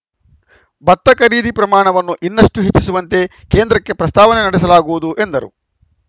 ಭತ್ತ ಖರೀದಿ ಪ್ರಮಾಣವನ್ನು ಇನ್ನಷ್ಟುಹೆಚ್ಚಿಸುವಂತೆ ಕೇಂದ್ರಕ್ಕೆ ಪ್ರಸ್ತಾವನೆ ಸಲ್ಲಿಸಲಾಗುವುದು ಎಂದರು